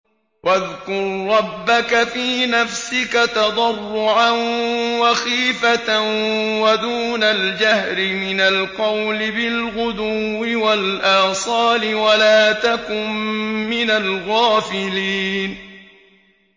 وَاذْكُر رَّبَّكَ فِي نَفْسِكَ تَضَرُّعًا وَخِيفَةً وَدُونَ الْجَهْرِ مِنَ الْقَوْلِ بِالْغُدُوِّ وَالْآصَالِ وَلَا تَكُن مِّنَ الْغَافِلِينَ